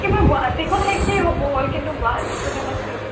কিবা গুৱাহাটীখন শেষে হ'ব হ'ল কিন্তু গুৱাহাটীখনে মই চিনি